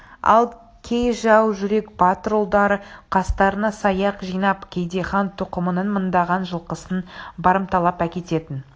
ал кей жау жүрек батыр ұлдары қастарына саяқ жинап кейде хан тұқымының мыңдаған жылқысын барымталап әкететін